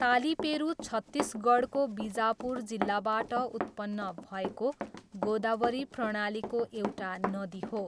तालिपेरू छत्तिसगढको बिजापुर जिल्लाबाट उत्पन्न भएको गोदावरी प्रणालीको एउटा नदी हो।